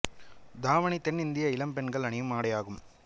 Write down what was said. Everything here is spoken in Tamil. தாவணி தென் இந்திய இளம் பெண்கள் அணியும் ஆடை ஆகும்